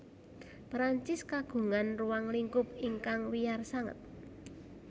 Perancis kagungan ruang lingkup ingkang wiyar sanget